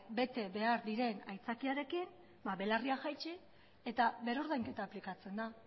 bete behar diren aitzakiarekin belarriak jaitsi eta berrordainketa aplikatzen da